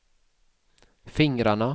fingrarna